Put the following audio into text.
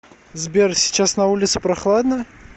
сбер сейчас на улице прохладно